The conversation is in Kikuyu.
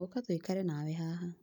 ũka tũikare nawe haha